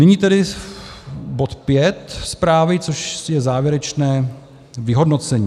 Nyní tedy bod V zprávy, což je závěrečné vyhodnocení.